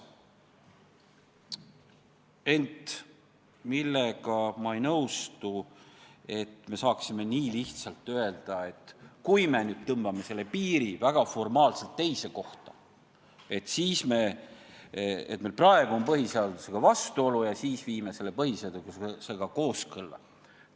Ent ma ei nõustu sellega, nagu me saaksime nii lihtsalt öelda, et kui me nüüd tõmbame selle piiri väga formaalselt teise kohta, siis meil praegu on küll põhiseadusega vastuolu, aga nüüd me viime põhiseadusega kooskõlla.